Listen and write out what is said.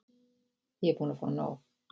Ég er búin að fá nóg.